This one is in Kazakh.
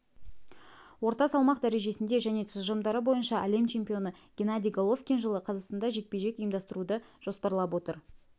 орта салмақ дәрежесінде және тұжырымдары бойынша әлем чемпионы геннадий головкин жылы қазақстанда жекпе-жек ұйымдастыруды жоспарлап отыр